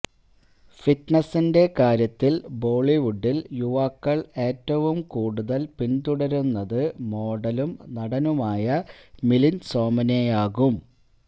ഫിറ്റ്നസിന്റെ കാര്യത്തിൽ ബോളിവുഡിൽ യുവാക്കൾ ഏറ്റവും കൂടുതൽ പിന്തുടരുന്നത് മോഡലും നടനുമായ മിലിന്ദ് സോമനെയാകും